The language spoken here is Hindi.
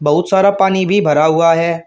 बहुत सारा पानी भी भरा हुआ है।